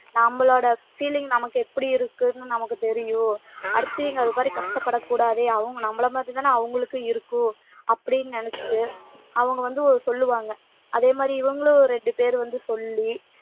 நம்மளோட feeling நமக்கு எப்டி இருக்குன்னு நமக்கு தெரியும் அடுத்தவங்க அதுமாறி கஷ்டப்படக் கூடாது அவங்க நம்பல மாதிரி தானே அவங்களுக்கும் இருக்கும் அப்டின்னு நெனச்சுட்டு அவுங்க வந்து சொல்லுவாங்க அதே மாதிரி இவங்களும் ரெண்டு பேர் வந்து சொல்லி